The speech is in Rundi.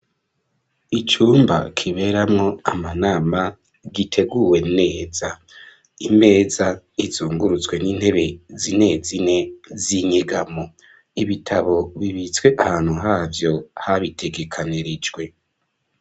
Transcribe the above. Icumba kiberamwo amanama giteguwe neza imeza izungurutswe n'intebe z'inezine z'inyegamo ibitabo bibitswe ahantu havyo habitegekanirijwe.